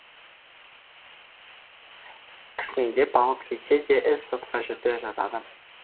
кісендеп алып кетсе де іс сотқа жетпей жатады